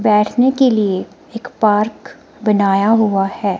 दर्शनीय के लिए एक पार्क बनाया हुआ है।